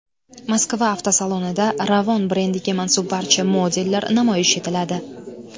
Moskva avtosalonida Ravon brendiga mansub barcha modellar namoyish etiladi.